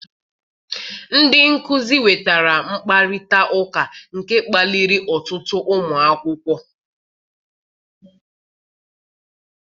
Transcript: Ndị nkuzi wetara mkparịta ụka, nke kpaliri ọtụtụ ụmụ akwụkwọ